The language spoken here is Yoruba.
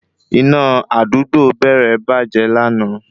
Iná àdúgbò Beere bàjẹ́ lana